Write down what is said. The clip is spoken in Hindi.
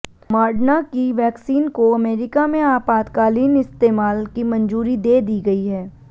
मॉर्डना की वैक्सीन को अमेरिका में आपातकालीन इस्तेमाल की मंजूरी दे दी गई है